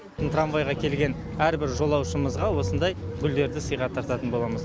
трамвайға келген әрбір жолаушымызға осындай гүлдерді сыйға тартатын боламыз